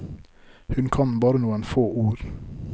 Hun kan bare noen få ord.